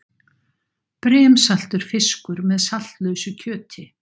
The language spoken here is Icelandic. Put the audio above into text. Brimsaltur fiskur með saltlausu kjöti.